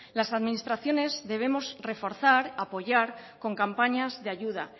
las administraciones debemos reforzar apoyar con campañas de ayuda